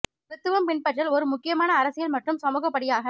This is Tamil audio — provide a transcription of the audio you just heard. கிறித்துவம் பின்பற்றல் ஒரு முக்கியமான அரசியல் மற்றும் சமூக படியாக